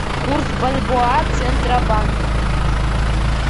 курс бальбоа центробанк